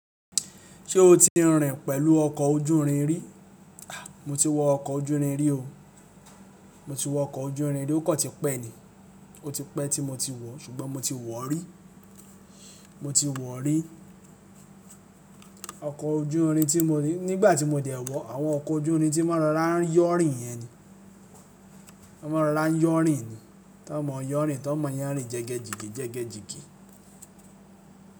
Ṣé o ti rìn pẹ̀lú ọkọ̀ ojú irin rí? Mo ti wọ ọkọ̀ ojú irin rí o. Mo ti wọ ọkọ̀ ojú irin rí, ó kò ti pẹ́ ni. O ti pẹ́ tí mo tí wọ, ṣùgbọ́n mo ti wọ rí. Mo ti wọ̀ rí. Ọkọ̀ ojú irin tí mo ní nígbà tí mo dẹ̀ wọ̀, àwọn ọkọ̀ ojú irin tí wọ́n máa ń rọrá yọ̀rìn yẹn ni. Wọ́n máa ń rọrá yọ̀rìn ni. Tọ mọ yọ̀rìn, tọ mọ yánrin jẹ́gẹ́jigi jẹ́gẹ́jigi.